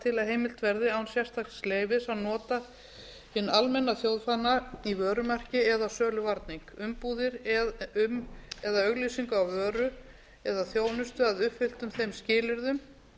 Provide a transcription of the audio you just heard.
til að heimilt verði án sérstaks leyfis að nota hinn almenna þjóðfána í vörumerki eða söluvarning umbúðir um eða auglýsingu á vöru eða þjónustu að uppfylltum þeim skilyrðum